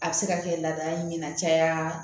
A bɛ se ka kɛ laada in ye na caya